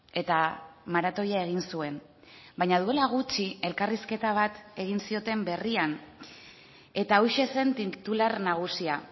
eta maratoia egin zuen baina duela gutxi elkarrizketa bat egin zioten berrian eta hauxe zen titular nagusia